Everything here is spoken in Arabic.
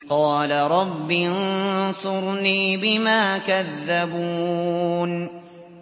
قَالَ رَبِّ انصُرْنِي بِمَا كَذَّبُونِ